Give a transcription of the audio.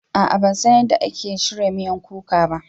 A'a ban san yadda ake shirya miyan kuka ba